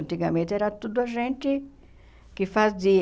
Antigamente era tudo a gente que fazia.